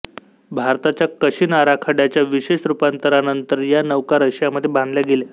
भारताच्या कशीन आराखड्याच्या विशेष रुपांतरणानंतर या नौका रशियामध्ये बांधल्या गेल्या